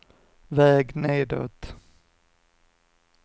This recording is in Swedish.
väg nedåt